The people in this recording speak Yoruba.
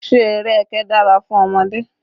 Ṣé eré ẹkẹ dára fún ọmọdé?